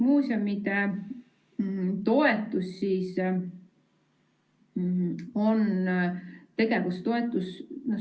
Muuseumide toetus on tegevustoetus.